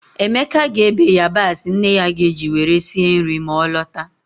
Emeka ga-ebe yabasị nne ya ga-eji were sie mri ma ọ lọta.